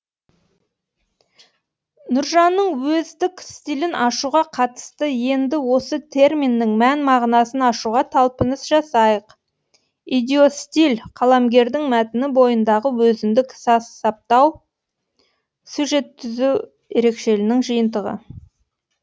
нұржанның өздік стилін ашуға қатысты енді осы терминнің мән мағынасын ашуға талпыныс жасайық идиостиль қаламгердің мәтіні бойындағы өзіндік сөз саптау сюжеттүзу ерекшелігінің жиынтығы